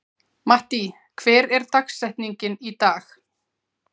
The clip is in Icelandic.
Mattý, hver er dagsetningin í dag?